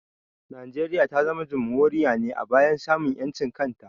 Najeriya ta zama Jamhuriya ne a bayan samun ƴancin kanta